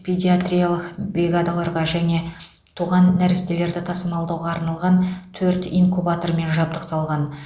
педиатриялық бригадаларға жаңа туған нәрестелерді тасымалдауға арналған төрт инкубатормен жабдықталған